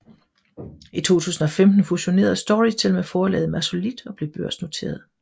I 2015 fusionerede Storytel med forlaget Massolit og blev børsnoteret